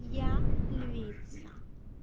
я львица